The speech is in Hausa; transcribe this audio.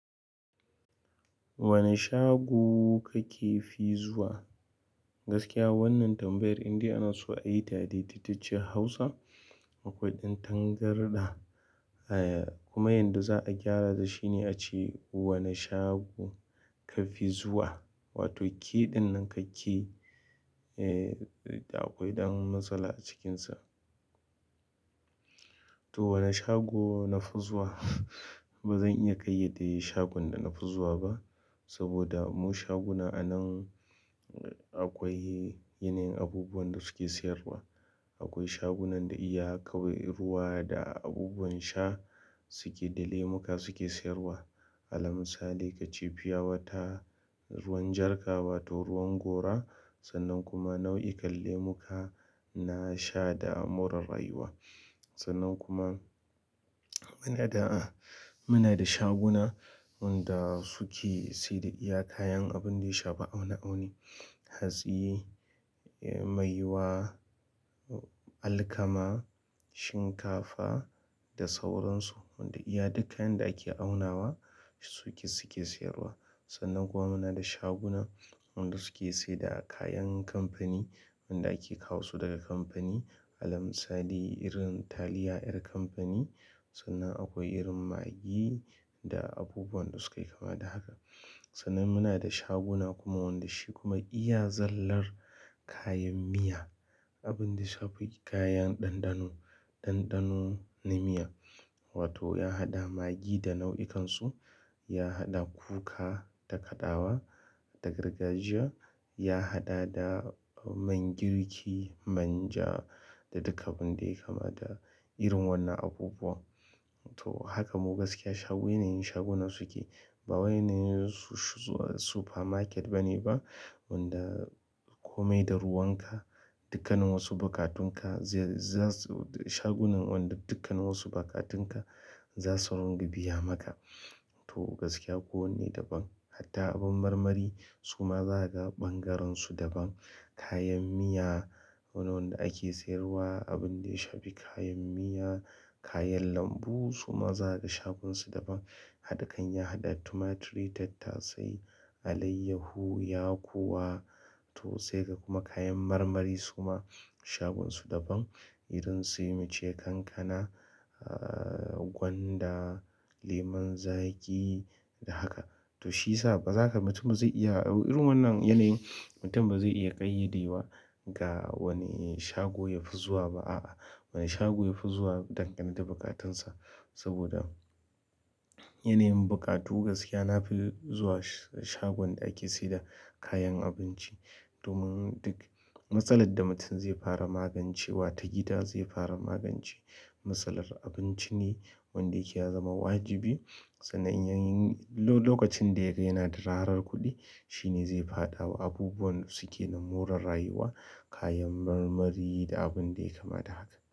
Wane shago kake fi zuwa? Gaskiya wannan tambayar indai ana so a yi ta da daidaitacciyar Hausa. Akwai ɗan tangarɗa, eh kuma yanda za a gyarata shine a ce "wane shago kafi zuwa?" wato kiɗan nan kake, eh akwai ɗan matsala a cikinsa. To wane shago na fi zuwa? Ba zan iya ƙayyade shagon da na fi zuwa ba. Saboda mu shaguna anan akwai yanayin abubuwan da suke siyarwa. Akwai shagunan da iya kawai ruwa da abubuwan sha suke da lemuka suke siyarwa. Alal misali kace fiyawata, ruwan jarka wato ruwan gora sannan kuma nau'ikan lemuka na sha da moran rayuwa. Sannan kuma muna da, muna da shaguna wanda suke saida iya kayan abun ɗaya shafa ma'auni hatsi, maiwa, alkama, shinkafa da sauran su. Wanda iya duk kayan da ake aunawa suke, suke siyarwa. Sannan kuwa muna da shaguna wanda suke saida kayan amfani wanda ake kawo su daga kamfani. Alal misali irin taliyar ʼyar kamfani sannan akwai irin maggi da abubuwan da suka yi kama da haka. Sannan muna da shaguna kuma wanda shi kuma iya zallar kayan miya. Abin da yashafi kayan ɗanɗano, ɗanɗano na miya wato ya haɗa maggi da nau'ikansu, ya haɗa kuka da kaɗawa, da gargajiya, ya haɗa da man girki, manja da duka abun da yake kama da irin wannan abubuwa. To haka mu gaskiya shago, yanayin shagunan suke. Ba wainan super market bane ba wanda kome da ruwanka, dukkanin wasu buƙatunka za su- shagunan wanda dukkan wasu buƙatunka za su runga biya maka. To gaskiya ko wanne daban. Hatta abin marmari su ma za ka ga ɓangaren su daban. Kayan miya wanda ake siyarwa abin da ya shafi kayan miya, kayan lambu su ma za ka ga shagonsu daban. Hakan ya haɗa tumaturi, tattasai, alayyahu, yakuwa to sai ka kuma kayan marmari su ma shagonsu daban. Irin sai muce kankana, gwanda, lemon zaƙi da haka. Toh shiyasa bazaka, mutum ba zai iya irin wannan yanayin mutum ba zai iya ƙayyade wa ga wane shago ya fi zuwa ba a'a. Wane shago yafi zuwa dangane da bukatansa. Saboda yanayin buƙatu gaskiya nafi zuwa shagon da ake saida kayan abinci. Domin duk matsalar da mutum zai fara magancewa ta gida zai fara magance. Matsalar abinci ne wanda yake ya zama wajibi. Sannan yanayin lokacin da yake yanada ƙarar kuɗi shine zai faɗa wa abubuwan suke nan moran rayuwa, kayan marmari da abunda yake kama da haka.